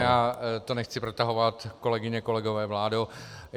Já to nechci protahovat, kolegyně, kolegové, vládo.